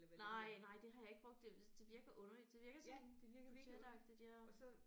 Nej nej det har jeg ikke brugt det det virker underligt det virker sådan budgetagtigt ja